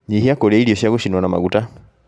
nyihia kũrĩa irio cia gũcinwo na maguta